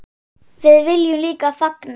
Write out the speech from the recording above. Við viljum líka fagna.